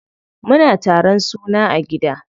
Muna taron suna a gida.